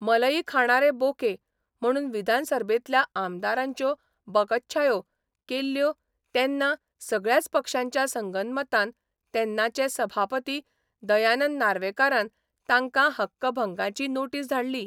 मलई खाणारे बोके 'म्हणून विधानसर्भेतल्या आमदारांच्यो बकच्छायो केल्यो तेन्ना सगळ्याच पक्षांच्या संगनमतान तेन्नाचे सभापती दयानंद नार्वेकारान तांकां हक्कभंगाची नोटीस धाडली.